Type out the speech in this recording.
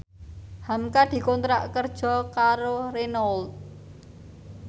hamka dikontrak kerja karo Renault